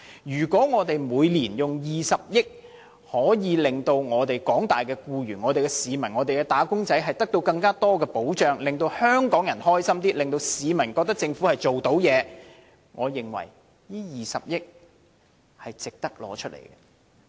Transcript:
如果政府每年花20億元，可以令廣大的市民和"打工仔"得到更多的保障，令香港人快樂一些，令市民認為政府能處理事情，我認為這20億元是值得撥用。